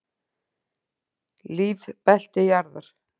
Lífbelti jarðar.